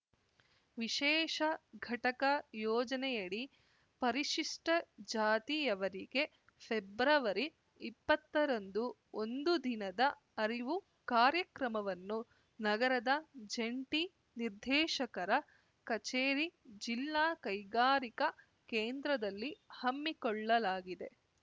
ವಿಶೇಷ ಘಟಕ ಯೋಜನೆಯಡಿ ಪರಿಶಿಷ್ಟಜಾತಿಯವರಿಗೆ ಫೆಬ್ರವರಿಇಪ್ಪತ್ತರಂದು ಒಂದು ದಿನದ ಅರಿವು ಕಾರ್ಯಕ್ರಮವನ್ನು ನಗರದ ಜಂಟಿ ನಿರ್ದೇಶಕರ ಕಚೇರಿ ಜಿಲ್ಲಾ ಕೈಗಾರಿಕಾ ಕೇಂದ್ರದಲ್ಲಿ ಹಮ್ಮಿಕೊಳ್ಳಲಾಗಿದೆ